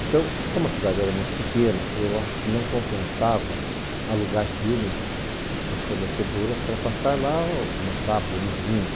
Então, como a cidade era muito pequena, eu acho que não compensava alugar filmes das fornecedoras para passar lá no sábado e no domingo.